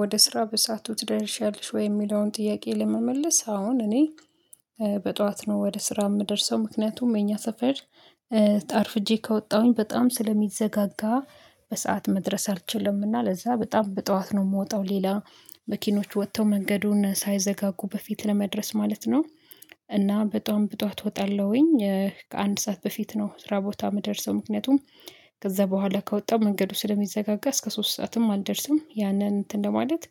ወደ ስራ በሳቱ ትደርሻለሽ ወይ? የሚለውን ጥያቄ ለመመለስ አሁን እኔ በጧት ነው ወደ ስራ የምደርሰው ምክንያቱም የኛ ሰፈር ጣርፍጄ ከወጣሁኝ በጣም ስለሚዘጋጋ በሰአት መድረስ አልችልምና ለዛ በጣም በጠዋት ነው የምወጣው ሌላ መኪኖች ወጥተው መንገዱን ሳይዘጋጉ በፊት ለመድረስ ማለት ነው። እና በጣም ብጧት እወጣለሁኝ ከአንድ ሰዓት በፊት ነው ስራ ቦታ የምደርሰው ምክንያቱም ከዛ በኋላ ከወጣው መንገዱ ስለሚዘጋጋ እስከ ሶስት ሰዓትም አልደርስም ያንን እንትን ለማለት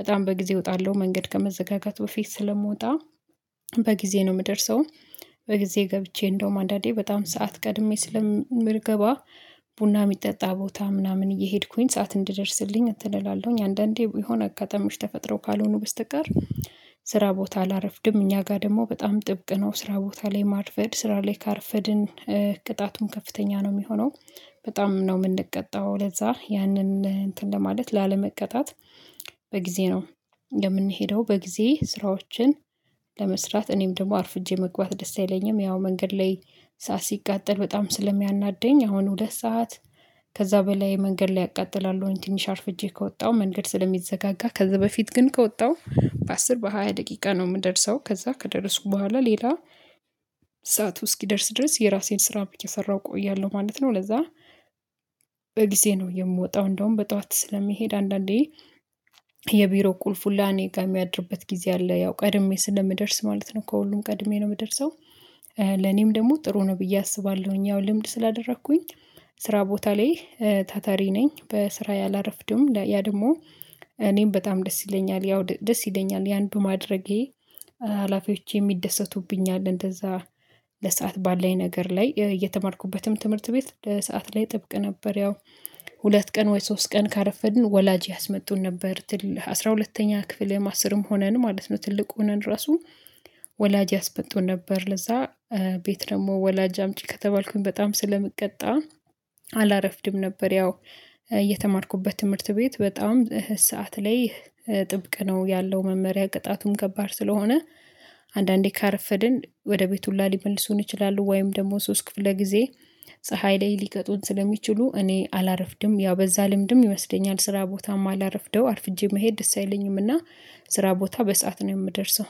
በጣም በጊዜ እወጣለሁ መንገድ ከመዘጋጋት በፊት ስለምወጣ በጊዜ ነው የምደርሰው። በጊዜ ገብቼ እንደውም አንዳንዴ በጣም ሰዓት ቀድሜ ስለምርገባ ቡና የሚጠጣ ቦታ ምናምን እየሄድኩኝ ሰዓት እንድደርስልኝ እትል እላለሁኝ አንዳንዴ የሆነ አጋጣሚዎች ተፈጥረው ካልሆኑ በስተቀር ስራ ቦታ ላረፍድም። እኛ ጋር ደግሞ በጣም ጥብቅ ነው ስራ ቦታ ላይ ማር ፈድ ስራ ላይ ካርፈድን ቅጣቱን ከፍተኛ ነው የሚሆነው በጣም ነው የምንቀጣው ለዛ ያንን እንትን ለማለት ላለመቅጣት በጊዜ ነው። የምንሄደው በጊዜ ስራዎችን ለመስራት እኔም ደግሞ አርፍጄ መግባት ደስ አይለኝም ያው መንገድ ላይ ሰዓት ሲቃጠል በጣም ስለሚያናደኝ አሁን ሁለት ሰዓት። ከዛ በላይ መንገድ ላይ አቃጥላለሁ ትንሽ አርፍጄ ከወጣሁ መንገድ ስለሚዘጋጋ ከዚህ በፊት ግን ከወጣሁ በአስር በሃያ ደቂቃ ነው የምደርሰው ከዛ ከደረሱኩ በኋላ ሌላ ሰዓቱ እስኪደርስ ድረስ የራሴን ስራ ብቻ ሰራሁ እቆያለሁ ማለት ነው። ለዛ በጊዜ ነው የምወጣው እንደውም በጠዋት ስለሚሄድ አንዳንዴ የቢሮ ቁልፉን ለኔ ጋር የሚያድርበት ጊዜ አለ ያው ቀድሜ ስለምደርስ ማለት ነው እኮ ሁሉም ቀድሜ ነው የምደርሰው። ለኔም ደግሞ ጥሩ ነው ብዬ አስባለሁኝ ያው ልምድ ስላደረኩኝ ስራ ቦታ ላይ ታታሪ ነኝ በስራ ያላረፍድም። ያ ደግሞ እኔም በጣም ደስ ይለኛል ያው ደስ ይለኛል ያን በማድረጌ ሀላፊዎች የሚደሰቱብኝ አለ እንደዛ ለሰአት ባለኝ ነገር ላይ እየተማርኩበትም ትምህርት ቤት ለሰአት ላይ ጥብቅ ነበር። ያው ሁለት ቀን ወይ ሶስት ቀን ካረፈድን ወላጅ ያስመጡን ነበር አስራ ሁለተኛ ክፍል አስርም ሆነን ማለት ነው። ትልቅ ሆነን ራሱ ወላጅ ያስበጡን ነበር ለዛ ቤት ደግሞ ወላጅ አምጪ ከተባልኩኝ በጣም ስለምትቀጣ አላረፍድም ነበር። ያው እየተማርኩበት ትምህርት ቤት በጣም ሰዓት ላይ ጥብቅ ነው ያለው መመሪያ ቅጣቱም ከባድ ስለሆነ አንዳንዴ ካረፈድን ወደ ቤቱ ላሊመልሱን ይችላሉ ወይም ደግሞ ሶስት ክፍለ ጊዜ ላይ ሊቀጡን ስለሚችሉ እኔ አላረፍድም ያው በዛ ልምድም ይወስደኛል ስራ ቦታማ አላረፍደው አርፍጄ መሄድ ደስ አይለኝምና። ስራ ቦታ በሰአት ነው የምደርሰው